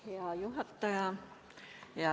Hea juhataja!